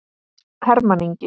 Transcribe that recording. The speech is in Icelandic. Hermann Ingi.